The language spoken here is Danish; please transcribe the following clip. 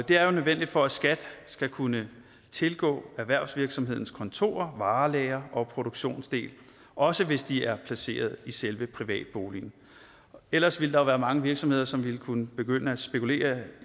det er nødvendigt for at skat skal kunne tilgå erhvervsvirksomhedens kontorer varelagre og produktionsdel også hvis de er placeret i selve privatboligen ellers ville der være mange virksomheder som ville kunne begynde at spekulere